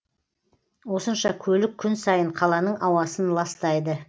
осынша көлік күн сайын қаланың ауасын ластайды